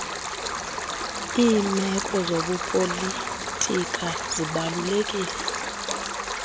limeko zobupolitika zibalulekile